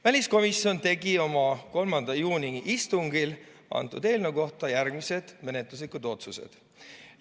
Väliskomisjon tegi oma 3. juuni istungil eelnõu kohta järgmised menetluslikud otsused.